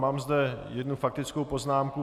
Mám zde jednu faktickou poznámku.